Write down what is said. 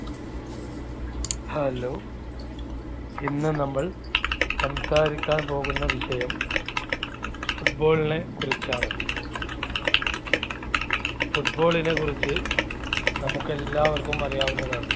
hello ഇന്ന് നമ്മൾ സംസാരിക്കാൻ പോകുന്ന വിഷയം football നെ കുറിച്ചാണ്. football നെ കുറിച്ച് നമുക്കെല്ലാവർക്കും അറിയാവുന്നതാണ്.